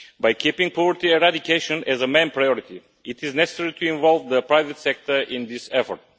By keeping poverty eradication as a main priority, it is necessary to involve the private sector in this effort.